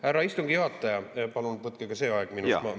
Härra istungi juhataja, palun võtke ka see aeg minu kõnest maha.